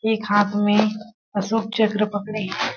एक हाथ में अशोक चक्र पकड़े हैं।